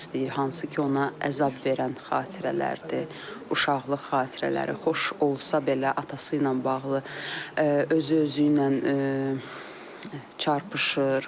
Hansı ki, ona əzab verən xatirələrdir, uşaqlıq xatirələri xoş olsa belə atası ilə bağlı özü özü ilə çarpışır.